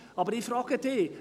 Aber ich frage Sie: